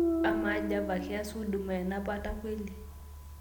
amaa java keas huduma enapata kweli